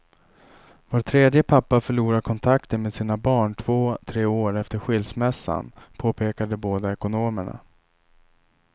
Var tredje pappa förlorar kontakten med sina barn två tre år efter skilsmässan, påpekar de båda ekonomerna.